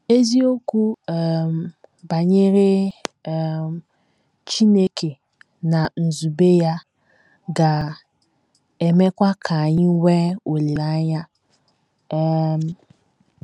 Eziokwu um banyere um Chineke na nzube ya ga - emekwa ka anyị nwee olileanya um.